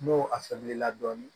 N'o a famulila dɔɔni